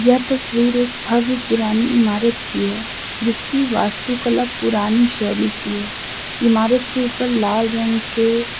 यह तस्वीर एक भव्य पुरानी इमारत की है जिसकी वास्तु कला पुरानी शैली की इमारत के ऊपर लाल रंग के--